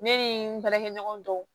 Ne ni n baarakɛɲɔgɔn dɔw